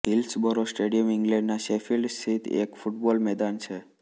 Hillsborough stadium ઇંગ્લેન્ડનાં Sheffield સ્થિત એક ફૂટબોલ મેદાન છે